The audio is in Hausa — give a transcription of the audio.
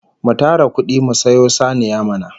Mu tara kudi mu sayo saniya mana!